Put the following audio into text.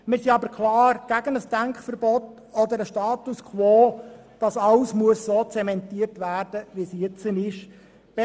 Wir sind aber klar gegen ein Denkverbot oder einen Status quo, sodass alles zementiert werden muss, wie es heute besteht.